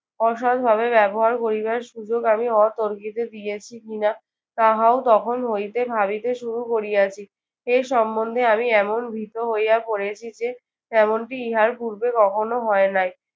অসৎভাবে ব্যবহার করিবার সুযোগ আমি অতর্কিত দিয়েছি কিনা তাহাও তখন হইতে ভাবিতে শুরু করিয়াছি। এর সম্বন্ধে আমি এমন ভীত হইয়া পড়েছি যে এমনটি ইহার পূর্বে কখনো হয় নাই।